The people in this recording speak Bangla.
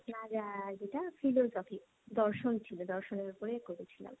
আপনার যেটা দর্শন ছিল, দর্শনের ওপরে করেছিলাম।